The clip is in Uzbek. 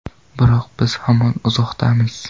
Biroq biz hamon uzoqdamiz.